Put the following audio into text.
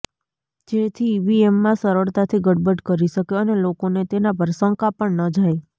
જેથી ઇવીએમમાં સરળતાથી ગડબડ કરી શકે અને લોકોને તેનાં પર શંકા પણ ન જાય